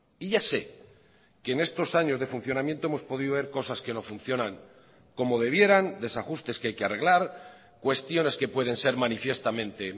y ya sé que en estos años de funcionamiento hemos podido ver cosas que no funcionan como debieran desajustes que hay que arreglar cuestiones que pueden ser manifiestamente